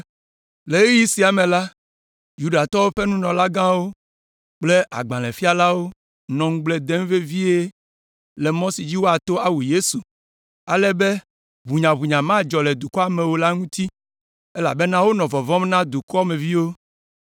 Le ɣeyiɣi sia me la, Yudatɔwo ƒe nunɔlagãwo kple agbalẽfialawo nɔ ŋugble dem vevie le mɔ si dzi woato awu Yesu, ale be ʋunyaʋunya madzɔ le dukɔa me o la ŋuti, elabena wonɔ vɔvɔ̃m na dukɔa me viwo.